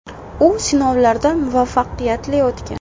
U sinovlardan muvaffaqiyatli o‘tgan.